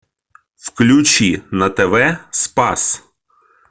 включи на тв спас